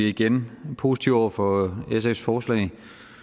igen positive over for sfs forslag